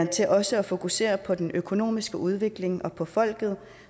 til også at fokusere på den økonomiske udvikling og på folket